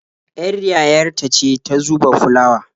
Ƴar yayar ta ce ta ke zuba fulawa.